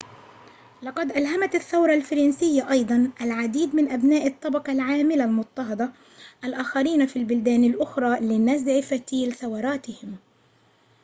لقد ألهمت الثورة الفرنسية أيضاً العديد من أبناء الطبقة العاملة المُضطهدة الآخرين في البلدان الأخرى لنزع فتيل ثوراتهم